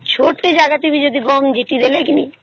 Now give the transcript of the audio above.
ଛୋଟ ଅଜାଗା ଟେ ବି ଯଦି ହଗହମ ବିଂଚିଦେଲେ କିଣି